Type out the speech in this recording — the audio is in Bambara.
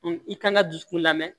i kan ka dusukun lamɛn